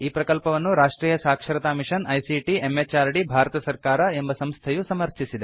ಈ ಪ್ರಕಲ್ಪವನ್ನು ರಾಷ್ಟ್ರೀಯ ಸಾಕ್ಷರತಾ ಮಿಷನ್ ಐಸಿಟಿ ಎಂಎಚಆರ್ಡಿ ಭಾರತ ಸರ್ಕಾರ ಎಂಬ ಸಂಸ್ಥೆಯು ಸಮರ್ಥಿಸಿದೆ